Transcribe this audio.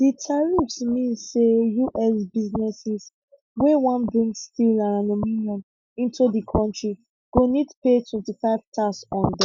di tariffs mean say us businesses wey wan bring steel and aluminium into di kontri go need pay twenty five tax on dem